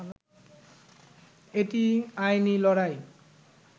এটি আইনি লড়াই